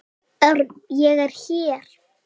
Örn, ég er hér